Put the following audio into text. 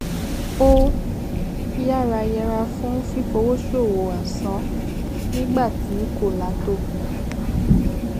ó yára yèra fún fífòwóṣòwò asán nígbà tí kòlà tó